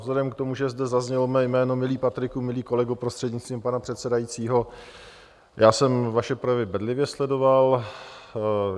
Vzhledem k tomu, že zde zaznělo mé jméno, milý Patriku, milý kolego, prostřednictvím pana předsedajícího, já jsem vaše projevy bedlivě sledoval.